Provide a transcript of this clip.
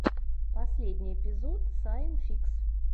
последний эпизод сайн фикс